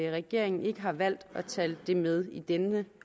regeringen ikke har valgt at tage det med i denne